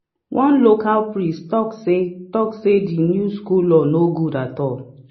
one local priest talk say talk say the new school law no good at all.